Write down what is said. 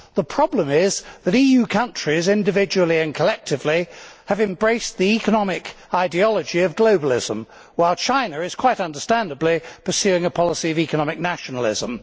The problem is that EU countries, individually and collectively, have embraced the economic ideology of globalism, while China is, quite understandably, pursuing a policy of economic nationalism.